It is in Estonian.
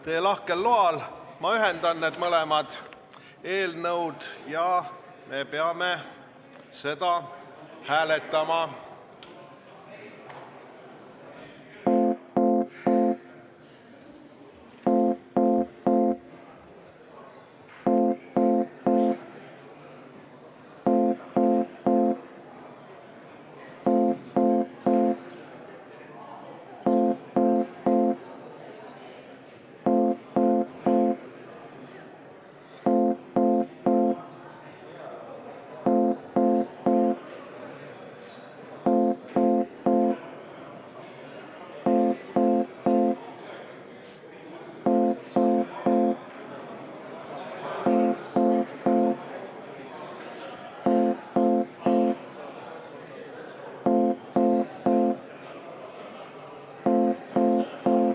Teie lahkel loal ma ühendan need ettepanekud ja me peame seda hääletama.